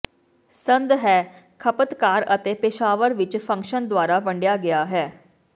ਸੰਦ ਹੈ ਖਪਤਕਾਰ ਅਤੇ ਪੇਸ਼ਾਵਰ ਵਿੱਚ ਫੰਕਸ਼ਨ ਦੁਆਰਾ ਵੰਡਿਆ ਗਿਆ ਹੈ